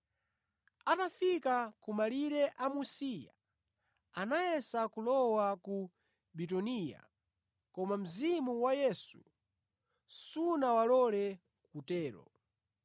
Atafika ku malire a Musiya, anayesa kulowa ku Bituniya, koma Mzimu wa Yesu sunawalole kutero.